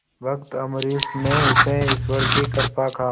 भक्त अम्बरीश ने इसे ईश्वर की कृपा कहा